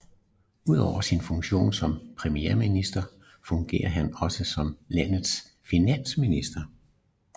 Udover sin funktion som premierminister fungerer han også som landets finansminister